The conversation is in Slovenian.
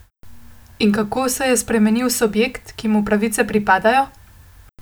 In kako se je spremenil subjekt, ki mu pravice pripadajo?